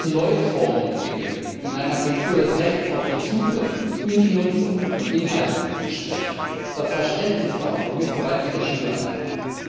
Wir müssen neue Formen entwickeln, die einer Kultur des Rechts auf den Zugriff und die Nutzung von Inhalten entsprechen. Das Verständnis dafür muss bereits in der Schule anfangen.